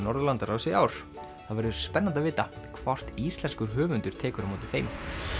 Norðurlandaráðs í ár það verður spennandi að vita hvort íslenskur höfundur tekur á móti þeim